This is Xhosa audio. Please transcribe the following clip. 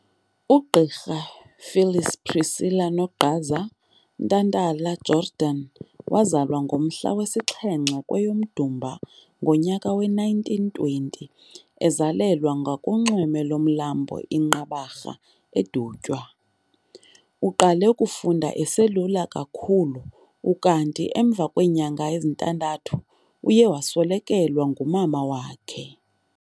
UGqirha Phyllis Priscilla 'Nogqaza' Ntantala-Jordan wazalwa ngomhla we-7, kweyoMdumba ngonyaka we-1920, ezalelwa ngakunxweme lomlambo iNqabarha, Dutywa|eDutywa. Uqale ukufunda eselula kakhulu, ukanti emva kweenyanga ezintandathu uye waswelekelwa ngumama wakhe.